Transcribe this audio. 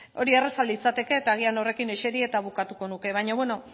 hori erraza litzateke eta agian horrekin eseri eta bukatuko nuke baina beno